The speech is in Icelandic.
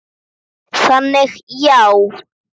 Máttu þá alltaf fara út?